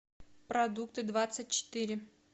продукты двадцать четыре